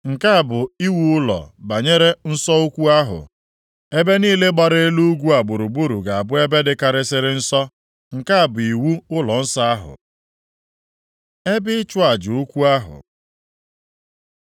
“Nke a bụ iwu ụlọ banyere nsọ ukwu ahụ. Ebe niile gbara elu ugwu a gburugburu ga-abụ ebe dịkarịsịrị nsọ! Nke a bụ iwu ụlọnsọ ahụ. Ebe ịchụ aja ukwu ahụ